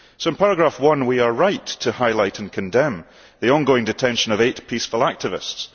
So in paragraph 1 we are right to highlight and condemn the ongoing detention of eight peaceful activists.